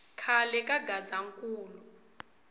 khale ka gazankulu